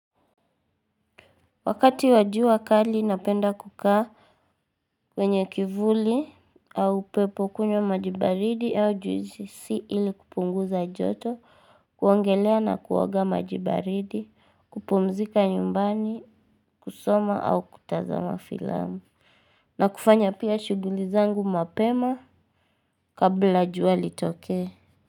Wakati wa jua kali napenda kukaa. Kwenye kivuli au upepo, kunywa maji baridi au juisi ili kupunguza joto, kuogelea na kuwaga maji baridi, kupumzika nyumbani, kusoma au kutazama filamu. Na kufanya pia shughuli zangu mapema kabla jua litoke.